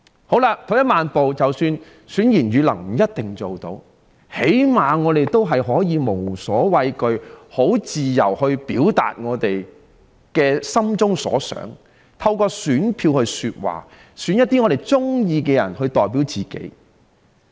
好了，退一萬步來說，即使選賢與能不一定能辦到，至少也可以讓我們無所畏懼及自由地表達我們心中所想，透過選票來說話，選一些我們喜歡的人代表自己。